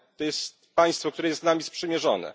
To jest państwo, które jest z nami sprzymierzone.